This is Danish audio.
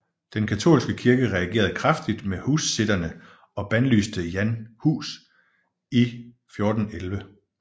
Den katolske kirke reagerede kraftigt mod hussitterne og bandlyste Jan Hus i 1411